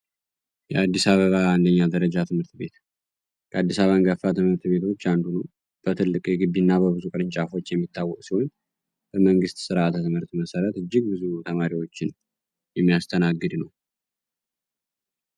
የአዲስ አበባ አንደኛ ደረጃ ትምህርት ቤት ከአዲሳ በንገፋ ትምህርት ቤቶች አንዱ ነ በትልቅ የግቢ እና በብዙ ቅርንጫፎች የሚታወቅ ሲሆኝ በመንግሥት ሥርዓተ ትምህርት መሠረት እጅግ ብዙ ተማሪዎችን የሚያስተናግድ ነው።